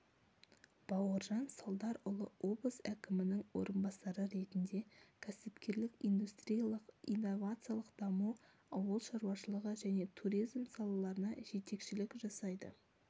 бауыржан салдарұлы облыс әкімінің орынбасары ретінде кәсіпкерлік индустриялық-инновациялық даму ауыл шаруашылығы және туризм салаларына жетекшілік жасайды